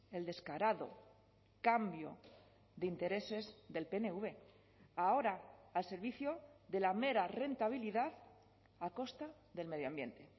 el descarado cambio de intereses del pnv ahora al servicio de la mera rentabilidad a costa del medio ambiente